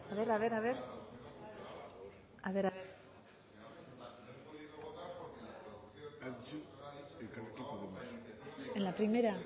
aber aber aber en la primera